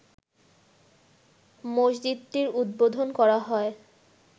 মসজিদটির উদ্বোধন করা হয়